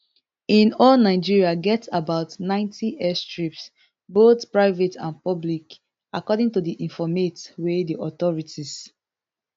in all nigeria get about ninety airstrips both private and public according to informate from di authorities